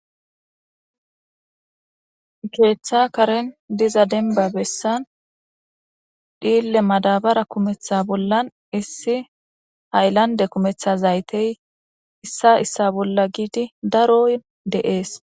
keeththa karen diza demba bessan dhiille madabara kumetha bollan issi hayllande kumetha zaytey issa issa bolla giidi daro de'ees